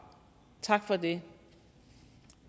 tak for det